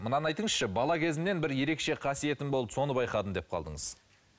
мынаны айтыңызшы бала кезімнен бір ерекше қасиетім болды соны байқадым деп қалдыңыз